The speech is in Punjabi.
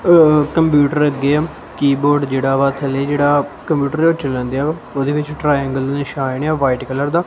ਕੰਪਿਊਟਰ ਗੇਮ ਕੀਬੋਰਡ ਜਿਹੜਾ ਵਾ ਥੱਲੇ ਜਿਹੜਾ ਕੰਪਿਊਟਰ ਹੈ ਓਹ ਚਲੰਦੇਆ ਵਾ ਓਹਦੇ ਵਿੱਚ ਟ੍ਰਾਐਂਗਲ ਦਾ ਨਿਸ਼ਾਨ ਆ ਵ੍ਹਾਈਟ ਕਲਰ ਦਾ।